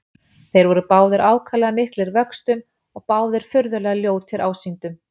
Þeir voru báðir ákaflega miklir vöxtum og báðir furðulega ljótir ásýndum.